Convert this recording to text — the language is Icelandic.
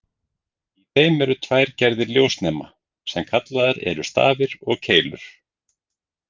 Í þeim eru tvær gerðir ljósnema, sem kallaðir eru stafir og keilur.